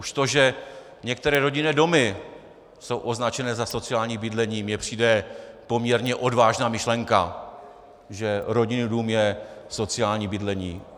Už to, že některé rodinné domy jsou označené za sociální bydlení, mi přijde poměrně odvážná myšlenka, že rodinný dům je sociální bydlení.